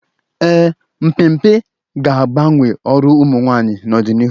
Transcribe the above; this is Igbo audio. Ee, mmepe ga-agbanwe ọrụ ụmụ nwaanyị n'ọdịnihu